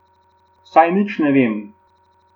Saj nič ne vem.